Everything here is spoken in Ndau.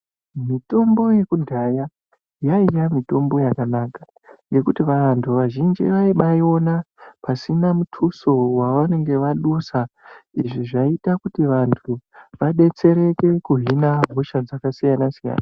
Mitombo yekudhaya yaiya mitombo yakanaka ngekuti vantu vazhinji vaibaaiona pasina mutuso wavanenge vadusa. Izvi zvaiita kuti vantu vadetsereke kuhina hosha dzakasiyana siyana.